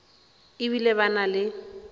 e bile ba na le